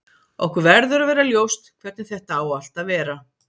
Okkur verður að vera ljóst hvernig þetta á allt að vera.